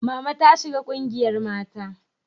Mama ta shiga ƙungiyar mata